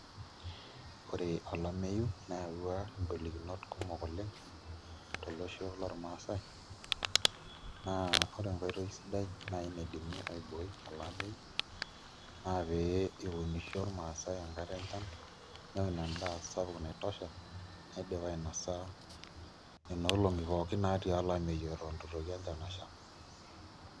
Ore olameyu neyaua ingolikinot kumok oleng' tolosho lormaasai naa ore enkoitoi sidai naai naidimi aibooi ele ameyu naa pee eunisho irmaasai enkata enchan neun endaa sapuk naitosha naidim ainosa nena olong'i pookin naatii olameyu eton itu itoki enchan asha.